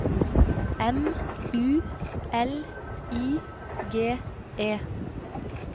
M U L I G E